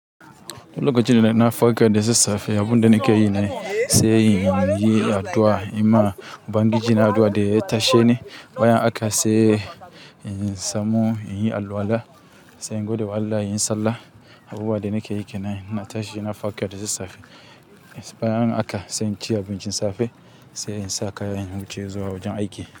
Duk lokacin da na farka da sassafe, abun da nake yi ne, sai in yi addu'a, in ma Ubangiji na addu'a da ya tashe ni. Bayan haka sai in samu in yi alwala, sai in gode wa Allah, in yi sallah. Abubuwa da nake yi ke nan, in na tashi na farka da sassafe. Bayan haka sai in ci abincin safe, sai in sa kaya, in wuce zuwa wajen aiki.